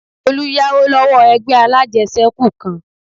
Olú yáwó lọ́wọ́ ẹgbẹ́ alájẹsẹ́kù kan